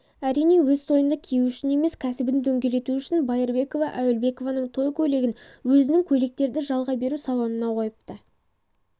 әрине өз тойында кию үшін емес кәсібін дөңгелету үшін байырбекова әуелбекованың той көйлегін өзінің көйлектерді жалға беру салонына қойыпты